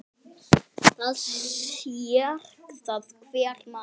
Það sér það hver maður.